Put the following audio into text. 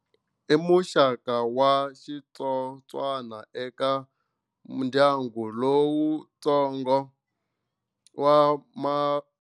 I muxaka wa xitsotswana eka ndyangu lowuntsongo wa Ma.